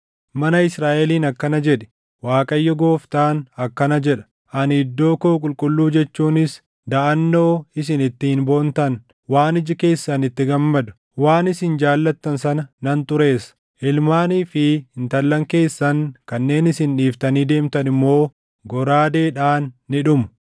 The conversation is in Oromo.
Mana Israaʼeliin akkana jedhi; ‘ Waaqayyo Gooftaan akkana jedha: Ani iddoo koo qulqulluu jechuunis daʼannoo isin ittiin boontan, waan iji keessan itti gammadu, waan isin jaallattan sana nan xureessa. Ilmaanii fi intallan keessan kanneen isin dhiiftanii deemtan immoo goraadeedhaan ni dhumu.